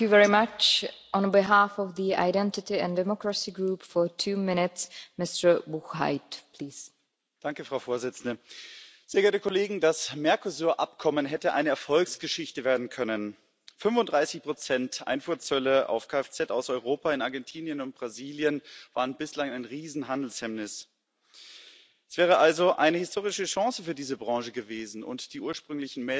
Frau Präsidentin, sehr geehrte Kolleginnen und Kollegen! Das Mercosur Abkommen hätte eine Erfolgsgeschichte werden können. 35 Einfuhrzölle auf Kfz aus Europa in Argentinien und Brasilien waren bislang ein Riesenhandelshemmnis. Es wäre also eine historische Chance für diese Branche gewesen, und die ursprünglichen Meldungen aus der Automobilbranche zum Abschluss beziehungsweise zum Abschluss der Verhandlungen waren auch dementsprechend positiv.